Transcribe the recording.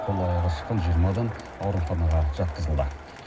қол аяғы шыққан жиырма адам ауруханаға жатқызылды